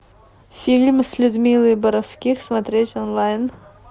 фильм с людмилой боровских смотреть онлайн